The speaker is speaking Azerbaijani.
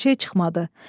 Bir şey çıxmadı.